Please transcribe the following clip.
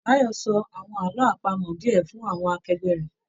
Báyọ́ sọ àwọn àlọ àpamọ̀ diẹ fún àwọn akẹgbẹ rẹ.